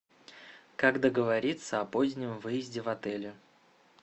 как договориться о позднем выезде в отеле